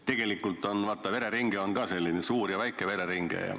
Tegelikult, vaata, vereringet on suurt ja väikest.